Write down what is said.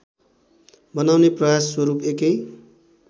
बनाउने प्रयास स्वरूप एकै